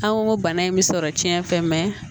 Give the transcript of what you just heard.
An ko bana in bɛ sɔrɔ cɛn fɛ